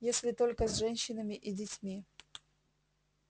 если только с женщинами и детьми